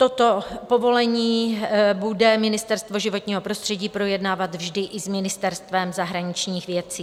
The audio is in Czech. Toto povolení bude Ministerstvo životního prostředí projednávat vždy i s Ministerstvem zahraničních věcí.